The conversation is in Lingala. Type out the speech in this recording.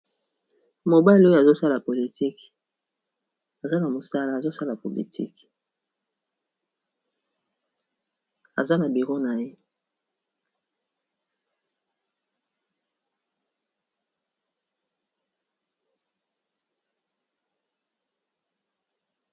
Mobali oyo azosala politik aza na mosala azosala politiki aza na bureau na ye.